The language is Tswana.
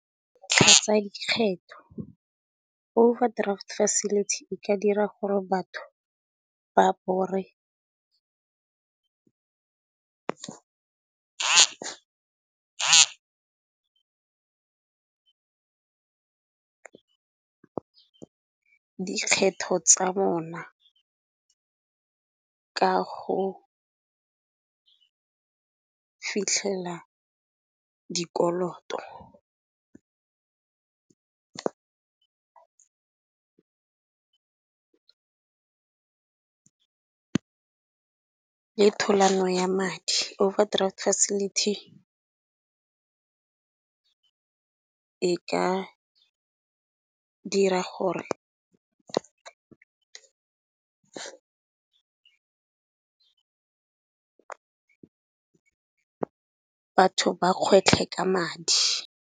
Tlhatsa dikgetho overdraft facility e ka dira gore batho ba borre dikgetho tsa bona ka go fitlhela dikoloto le thulano ya madi. Overdraft facility e ka dira gore batho ba kgwetlhe ka madi.